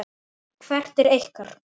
Hvert er ykkar?